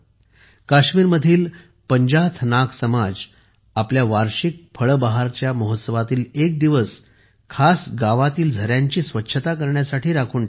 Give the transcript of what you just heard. काश्मीरमधील पंजाथ नाग समाज आपल्या वार्षिक फळे बहार चा महोत्सवातील एक दिवस खास गावातील झऱ्यांची स्वच्छता करण्यासाठी राखून ठेवतो